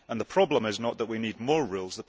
The problem is not that we need more rules